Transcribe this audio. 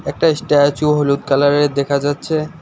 একটা স্ট্যাচু হলুদ কালারের দেখা যাচ্ছে।